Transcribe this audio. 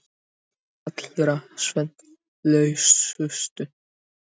Þær allra svefnlausustu.